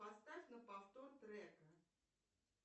поставь на повтор трека